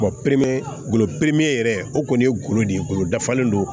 bolo yɛrɛ o kɔni ye golo de ye golo dafalen don